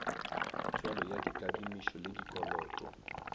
tswalo ya dikadimišo le dikoloto